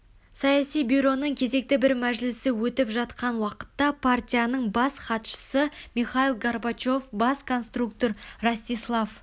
саяси бюроның кезекті бір мәжілісі өтіп жатқан уақытта партияның бас хатшысы михаил горбачев бас конструктор ростислав